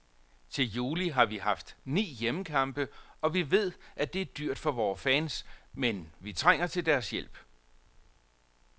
Til juli har vi haft ni hjemmekampe, og vi ved, at det er dyrt for vores fans, men vi trænger til deres hjælp.